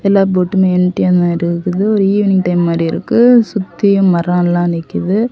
எல்லா போட்டுமே எம்டியாதா இருக்கு ஒரு ஈவினிங் டைம் மாதிரி இருக்கு சுத்தியு மரவெல்லாம் நிக்குது.